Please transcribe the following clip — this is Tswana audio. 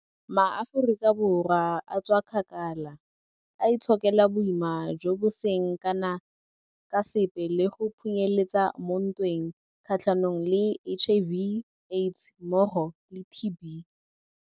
MaAforika Borwa a tswakgakala, a itshokela boima jo bo seng kana ka sepe le go phunyeletsa mo ntweng kgatlhanong le HIV, AIDS mmogo le TB.